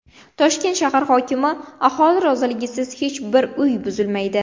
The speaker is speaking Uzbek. Toshkent shahar hokimi: Aholi roziligisiz hech bir uy buzilmaydi.